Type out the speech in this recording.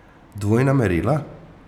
Dvojna merila?